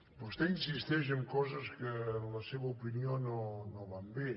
vostè insisteix en coses que en la seva opinió no van bé